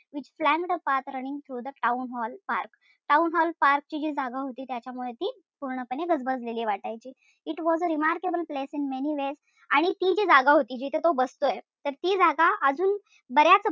Which flanked a path running through the town hall park town hall park ची जी जागा होती त्याच्यामुळं ती पूर्णपणे गजबजलेली वाटायची. It was a remarkable place in many ways आणि ती जी जागा होती जिथं तो बसतोय तर ती जागा अजून बऱ्याच,